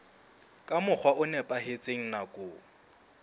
ka mokgwa o nepahetseng nakong